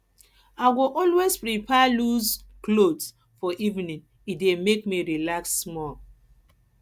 i go always prefer loose clothes for evening e dey make me relax small